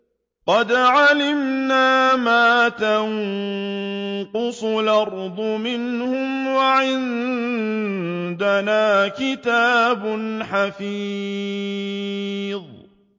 قَدْ عَلِمْنَا مَا تَنقُصُ الْأَرْضُ مِنْهُمْ ۖ وَعِندَنَا كِتَابٌ حَفِيظٌ